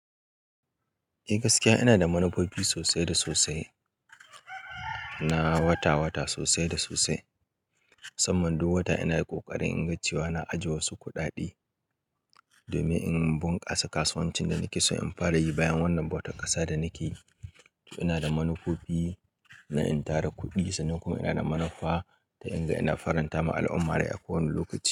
Eh gaskiya ina da manufofi sosai da sosai, na wata-wata sosai da sosai. Musamman duk wata ina ƙoƙarin in ga cewa na ajiye wasu kuɗaɗe domin in bunkasa kasuwancin da nake so in fara yi bayan wannan bautar ƙasa da nake yi. Ina da manufofi na in tara kuɗi sannan kuma ina da manufa ta in ga ina faranta ma al'umma rai a kowane lokaci.